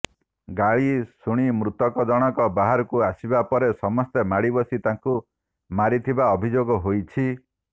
ଗାଳି ଶୁଣି ମୃତକ ଜଣକ ବାହାରକୁ ଆସିବା ପରେ ସମସ୍ତେ ମାଡିବସି ତାକୁ ମାରିଥିବା ଅଭିଯୋଗ ହୋଇଛି